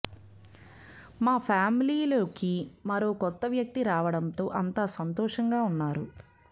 మ ఫ్యామిలీలోకి మరో కొత్త వ్యక్తి రావడంతో అంతా సంతోషంగా ఉన్నారు